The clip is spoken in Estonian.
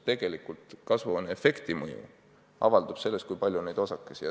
Tegelikult kasvuhooneefekti mõju avaldub selles, kui palju neid osakesi on.